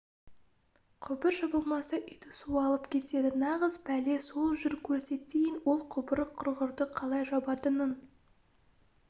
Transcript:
құбыр жабылмаса үйді су алып кетеді нағыз пәле сол жүр көрсетейін ол құбыр құрғырды қалай жабатынын